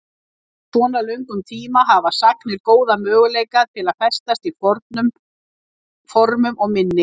Á svo löngum tíma hafa sagnir góða möguleika til að festast í formum og minni.